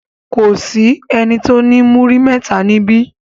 Kò sí ẹni tó ní múrí mẹ́ta níbí.